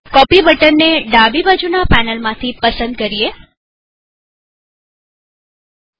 copy button ને ડાબી બાજુના પેનલમાંથી પસંદ કરો